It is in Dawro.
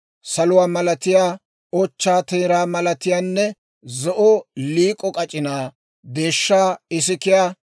saluwaa malatiyaa, ochchaa teeraa malatiyaanne, zo'o liik'o k'ac'inaa, deeshshaa isikiyaa,